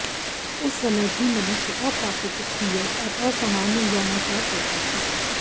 उस समय भी मनुष्य अप्राकृतिक क्रिया और असामान्य यौनाचार करता था